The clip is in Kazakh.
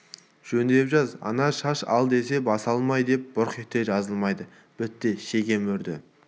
жөңдеп жаз ана шаш ал десе бас алмай деп бұрқ етті жазылмайды бітті шеге мөрді